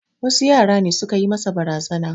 Wasu yara ne su ka yi masa barazana.